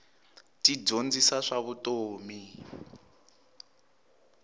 ti dyondzisa swa vutomi